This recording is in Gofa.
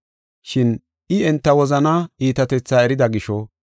Shin I enta wozanaa iitatetha erida gisho,